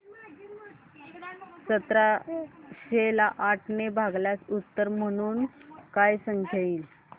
सतराशे ला आठ ने भागल्यास उत्तर म्हणून काय संख्या येईल